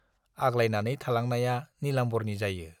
आग्लायनानै थालांनाया नीलाम्बारनि जायो।